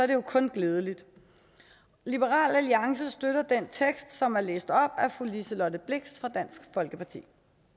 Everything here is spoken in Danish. det jo kun glædeligt liberal alliance støtter den tekst som er læst op af fru liselott blixt fra dansk folkeparti